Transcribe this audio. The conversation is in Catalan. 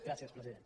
gràcies president